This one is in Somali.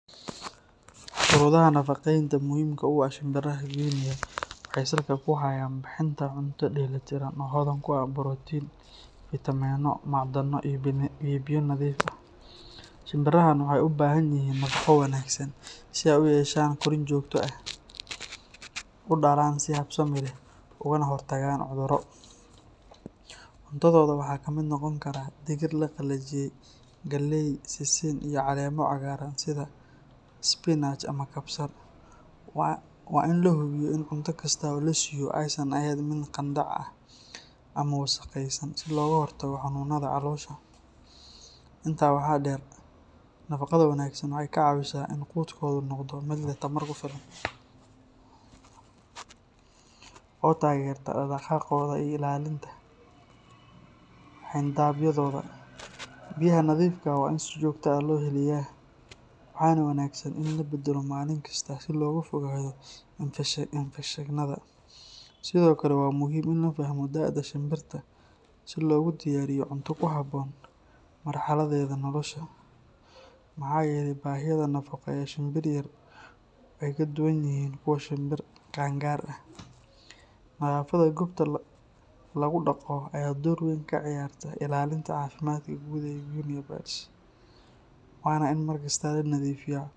Shuruudaha nafaqeynta muhiimka u ah shimbiraha guinea waxay salka ku hayaan bixinta cunto dheelli tiran oo hodan ku ah borotiin, fiitamiino, macdano iyo biyo nadiif ah. Shimbirahan waxay u baahan yihiin nafaqo wanaagsan si ay u yeeshaan korriin joogto ah, u dhalaan si habsami leh, ugana hortagaan cudurro. Cuntadooda waxaa ka mid noqon kara digir la qalajiyey, galley, sisin, iyo caleemo cagaaran sida spinach ama kabsar. Waa in la hubiyo in cunto kasta oo la siiyo aysan ahayn mid qandac ah ama wasakhaysan si looga hortago xanuunada caloosha. Intaa waxaa dheer, nafaqada wanaagsan waxay ka caawisaa in quudkoodu noqdo mid leh tamar ku filan oo taageerta dhaqdhaqaaqooda iyo ilaalinta xayndaabyadooda. Biyaha nadiifka ah waa in si joogto ah loo heliyaa, waxaana wanaagsan in la beddelo maalin kasta si looga fogaado infekshannada. Sidoo kale, waa muhiim in la fahmo da’da shimbirta si loogu diyaariyo cunto ku habboon marxaladdeeda nolosha, maxaa yeelay baahiyaha nafaqo ee shinbir yar way ka duwan yihiin kuwa shimbir qaan gaar ah. Nadaafadda goobta lagu dhaqdo ayaa door weyn ka ciyaarta ilaalinta caafimaadka guud ee [guinea birds, waana in mar kasta la nadiifiyaa weelasha biyaha iyo quudka